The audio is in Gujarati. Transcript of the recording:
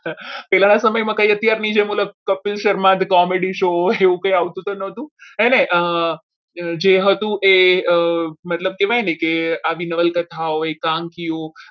પહેલાના સમયમાં અત્યારની જે કપિલ શર્મા comedy શો એવું કંઈ આવતું ન હતું. એણે જે હતું એ મતલબ કહેવાય ને કે આવી નવલકથા એકાંકીઓ